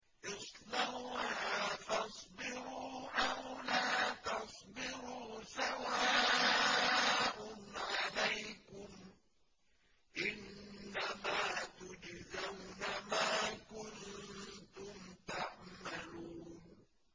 اصْلَوْهَا فَاصْبِرُوا أَوْ لَا تَصْبِرُوا سَوَاءٌ عَلَيْكُمْ ۖ إِنَّمَا تُجْزَوْنَ مَا كُنتُمْ تَعْمَلُونَ